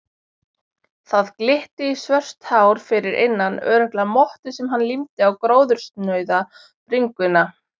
Það glitti í svört hár fyrir innan, örugglega mottu sem hann límdi á gróðursnauða bringuna.